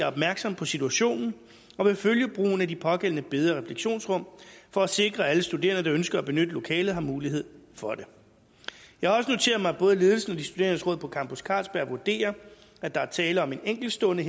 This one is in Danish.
opmærksom på situationen og vil følge brugen af det pågældende bede og refleksionsrum for at sikre at alle studerende der ønsker at benytte lokalet har mulighed for det jeg har også noteret mig at både ledelsen og de studerendes råd på campus carlsberg vurderer at der er tale om en enkeltstående